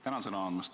Tänan sõna andmast!